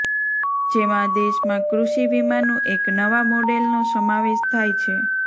જેમાં દેશમાં કૃષિ વીમાનું એક નવા મોડેલનો સમાવેશ થાય છે